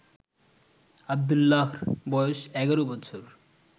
আব্দুল্লাহর বয়স ১১ বছর